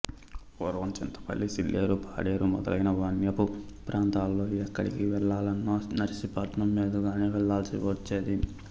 పూర్వం చింతపల్లి సీలేరు పాడేరు మొదలైన మన్యపు ప్రాంతాలలో ఎక్కడికి వెళ్ళాలన్నా నర్సీపట్నం మీదుగానే వెళ్ళవలసి వచ్చేది